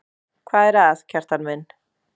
Hvað er að, Kjartan minn?